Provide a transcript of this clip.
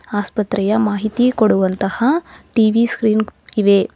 ಆಸ್ಪತ್ರೆಯ ಮಾಹಿತಿ ಕೊಡುವಂತಹ ಟಿ_ವಿ ಸ್ಕ್ರೀನ್ ಇವೆ.